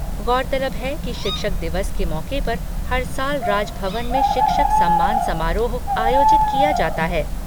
गौर तलब है कि शिक्षक दिवस के मौके पर हर साल राजभवन में शिक्षक सम्मान समारोह आयोजित किया जाता है।